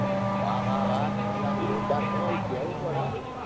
વાહ વાહ વાહ તમે તો જોરદાર હો કેવું પડે હો ભાઈ.